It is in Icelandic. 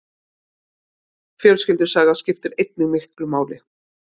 Fjölskyldusaga skiptir einnig miklu máli.